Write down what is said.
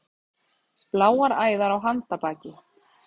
Bláar æðar á handarbaki.